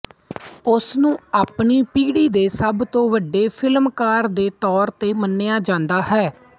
ਉਸਨੂੰ ਆਪਣੀ ਪੀੜ੍ਹੀ ਦੇ ਸਭ ਤੋਂ ਵੱਡੇ ਫਿਲਮਕਾਰ ਦੇ ਤੌਰ ਤੇ ਮੰਨਿਆ ਜਾਂਦਾ ਹੈ